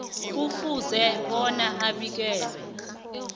kufuze bona abikele